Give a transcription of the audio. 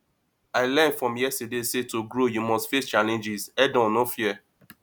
i learn from yesterday say to grow you must face challenges headon no fear